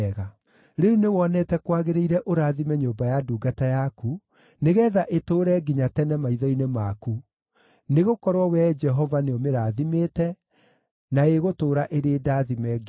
Rĩu nĩwonete kwagĩrĩire ũrathime nyũmba ya ndungata yaku, nĩgeetha ĩtũũre nginya tene maitho-inĩ maku; nĩgũkorwo, Wee Jehova nĩũmĩrathimĩte, na ĩgũtũũra ĩrĩ ndaathime nginya tene.”